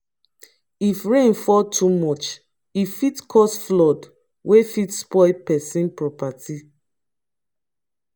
if rain fall too much e fit cause flood wey fit spoil pesin property